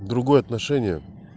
другое отношение